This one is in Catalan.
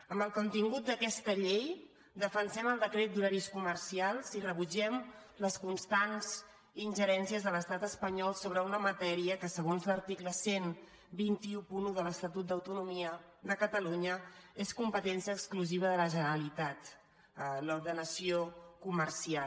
amb el contingut d’aquesta llei defensem el decret d’horaris comercials i rebutgem les constants ingerències de l’estat espanyol sobre una matèria que segons l’article dotze deu u de l’estatut d’autonomia de catalunya és competència exclusiva de la generalitat l’ordenació comercial